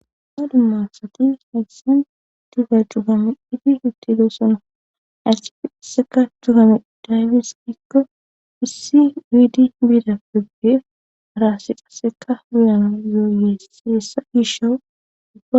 Ha dumma asatis haysan duga jugame idi uttidoosono arsi aseka dugame daybis qikko wissi wiidi biidapebbeef araassi qasseka guyana yooyeessiessa iishoowudua